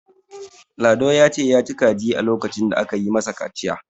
lado ya ci kaji lokacin da aka yi masa kaciya